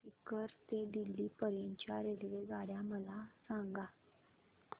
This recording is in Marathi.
सीकर ते दिल्ली पर्यंत च्या रेल्वेगाड्या मला सांगा